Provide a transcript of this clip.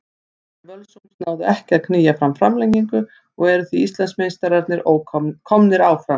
Leikmenn Völsungs náðu ekki að að knýja fram framlengingu og því eru Íslandsmeistararnir komnir áfram.